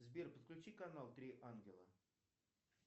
сбер подключи канал три ангела